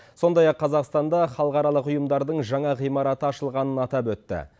сондай ақ қазақстанда халықаралық ұйымдардың жаңа ғимараты ашылғанын атап өтті